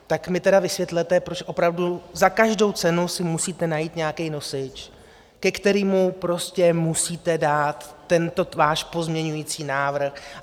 Tak mi tedy vysvětlete, proč opravdu za každou cenu si musíte najít nějaký nosič, ke kterému prostě musíte dát tento váš pozměňující návrh.